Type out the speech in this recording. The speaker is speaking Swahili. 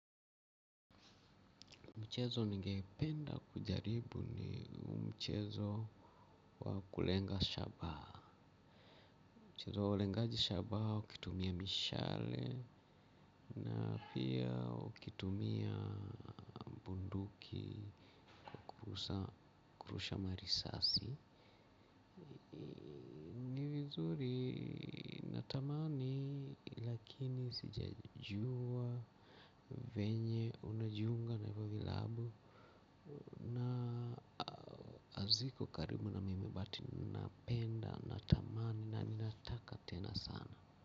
Mchezo ningependa kujaribu ni mchezo wa kulenga shabaa. Mchezo wa ulengaji shabaa ukitumia mishale na pia ukitumia bunduki kwa kurusha marisasi. Ni vizuri natamani lakini sijajuwa venye unajiunga na hivyo vilabu. Na aziko karibu na mimi but napenda natamani na ninataka tena sana.